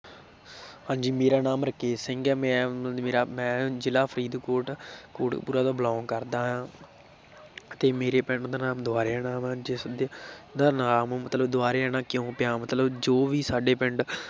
ਹਾਂਜੀ ਮੇਰਾ ਨਾਮ ਰਕੇਸ਼ ਸਿੰਘ ਹੈ ਮੈਂ ਮੇਰਾ ਮੈਂ ਜ਼ਿਲ੍ਹਾ ਫ਼ਰੀਦਕੋਟ ਕੋਟਕਪੁਰਾ ਤੋਂ belong ਕਰਦਾ ਹਾਂ ਤੇ ਮੇਰੇ ਪਿੰਡ ਦਾ ਨਾਮ ਦੁਬਾਰੇਆਣਾ ਵਾਂ, ਜਿਸਦੇ ਦਾ ਨਾਮ ਮਤਲਬ ਦੁਬਾਰੇਆਣਾ ਕਿਉਂ ਪਿਆ ਮਤਲਬ ਜੋ ਵੀ ਸਾਡੇ ਪਿੰਡ